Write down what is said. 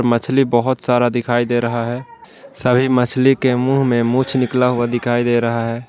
मछली बहुत सारा दिखाई दे रहा है सभी मछली के मुंह में मूंछ निकला हुआ दिखाई दे रहा है।